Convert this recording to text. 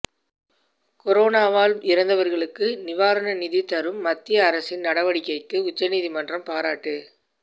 கொரோனாவால் இறந்தவர்களுக்கு நிவாரண நிதி தரும் மத்திய அரசின் நடவடிக்கைக்கு உச்சநீதிமன்றம் பாராட்டு